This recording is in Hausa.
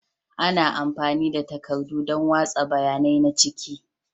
Ana amfani da takardu don watsa bayanai na ciki.